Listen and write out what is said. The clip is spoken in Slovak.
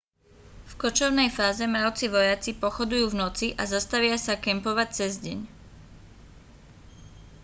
v kočovnej fáze mravci vojaci pochodujú v noci a zastavia sa kempovať cez deň